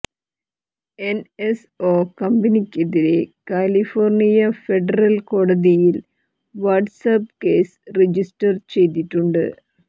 NSO കമ്പനിക്കെതിരെ California federal കോടതിയിൽ WhatsApp case register ചെയ്തിട്ടുണ്ട്